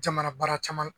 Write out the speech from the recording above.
Jamana baara caman